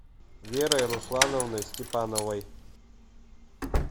верой руслановной степановой